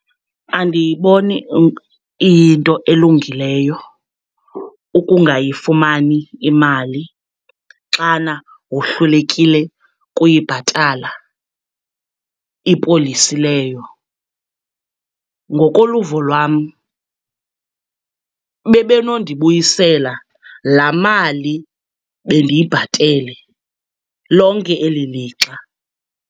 Andiyiboni iyinto elungileyo ukungayifumani imali xana wohlulekile kuyibhatala ipolisi leyo. Ngokoluvo lwam, bebe nondibuyisela laa mali bendiyibhatele lonke eli lixa.